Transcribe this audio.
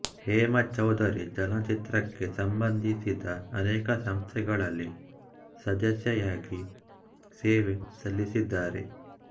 ಹೇಮಾ ಚೌಧರಿ ಚಲನಚಿತ್ರಕ್ಕೆ ಸಂಬಂಧಿಸಿದ ಅನೇಕ ಸಂಸ್ಥೆಗಳಲ್ಲಿ ಸದಸ್ಯೆಯಾಗಿ ಸೇವೆ ಸಲ್ಲಿಸಿದ್ದಾರೆ